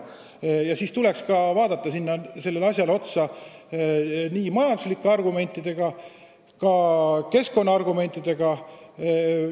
Ning sellele tõsiasjale tuleks otsa vaadata, pidades silmas nii majanduslikke kui ka keskkonnakaitse argumente.